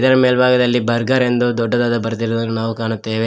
ಇದರ ಮೇಲ್ಬಾಗದಲ್ಲಿ ಬರ್ಗರ್ ಎಂದು ದೊಡ್ಡದಾದ ಬರೆದಿರುವುದನ್ನು ನಾವು ಕಾಣುತ್ತೆವೆ.